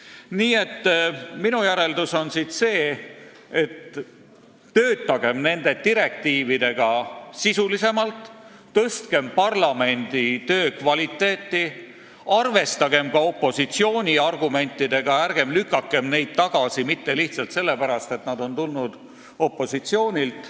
Nii et minu järeldus on siit see, et töötagem nende direktiividega sisulisemalt, tõstkem parlamendi töö kvaliteeti, arvestagem ka opositsiooni argumentidega – ärgem lükakem neid tagasi lihtsalt sellepärast, et need on tulnud opositsioonilt.